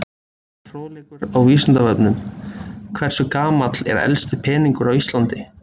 Frekari fróðleikur á Vísindavefnum: Hversu gamall er elsti peningur á Íslandi?